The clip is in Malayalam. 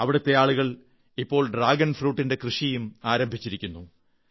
അവിടത്തെ ആളുകൾ ഇപ്പോൾ ഡ്രാഗൺ ഫ്രൂട്ടിന്റെ കൃഷിയും ആരംഭിച്ചിരിക്കുന്നു